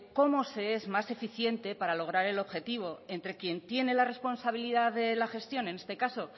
cómo se es más eficiente para lograr el objetivo entre quien tiene la responsabilidad de la gestión en este caso